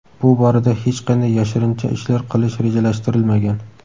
bu borada hech qanday yashirincha ishlar qilish rejalashtirilmagan.